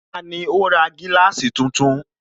Tani ó ra gíláàsì tuntun?